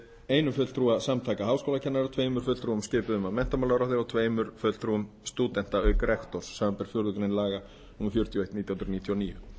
einum fulltrúa samtaka háskólakennara tveimur fulltrúum skipuðum af menntamálaráðherra og tveimur fulltrúum stúdenta auk rektors samanber fjórðu grein laga númer fjörutíu og eitt nítján hundruð níutíu og níu